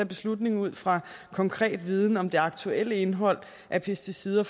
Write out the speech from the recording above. beslutning ud fra konkret viden om det aktuelle indhold af pesticider